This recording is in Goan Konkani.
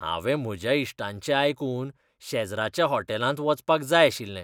हांवें म्हज्या इश्टांचें आयकून शेजराच्या होटॅलांत वचपाक जाय आशिल्लें.